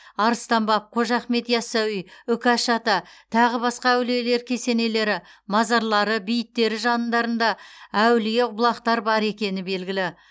арыстан баб қожа ахмет яссауи үкаш ата тағы басқа әулиелер кесенелері мазарлары бейіттері жандарында әулие бұлақтар бар екені белгілі